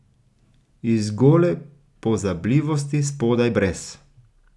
Iz gole pozabljivosti spodaj brez.